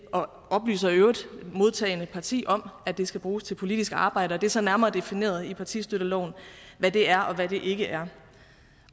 modtagende parti om at det skal bruges til politiske arbejde og det er så nærmere defineret i partistøtteloven hvad det er og hvad det ikke er